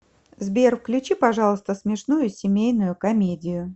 сбер включи пожалуйста смешную семейную комедию